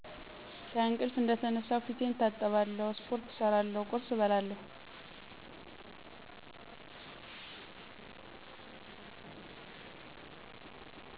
ከእንቅልፍ እንደተነሳሁ ፊቴን እታጠባለሁ ስፖርት እሰራለሁ ቁርስ እባላለሁ